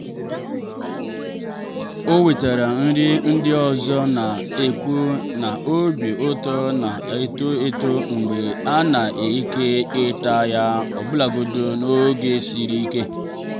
o wetara nri ndị ọzọ na-ekwu na obi ụtọ na-eto eto mgbe a na-ekerịta ya ọbụlagodi n'oge siri ike